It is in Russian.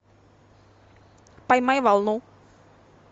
поймай волну